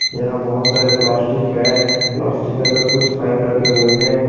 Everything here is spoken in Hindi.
यहा बहोत सारे प्लास्टिक है प्लास्टिक के अंदर कुछ पाइप रखे हुए है।